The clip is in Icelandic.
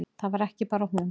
Það var ekki bara hún.